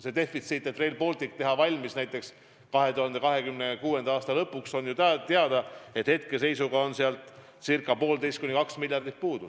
Selleks, et Rail Baltic valmis saada näiteks 2026. aasta lõpuks, on hetkeseisuga puudu 1,5–2 miljardit.